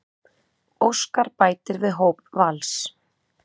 Óskar bætir við hóp Vals